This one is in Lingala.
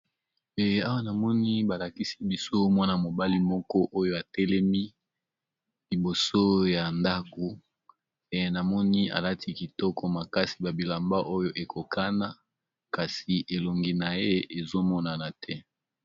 Ee awa namoni balakisi biso mwana mobali moko oyo atelemi liboso ya ndako e namoni alati kitoko makasi babilamba oyo ekokana kasi elongi na ye ezomonana te.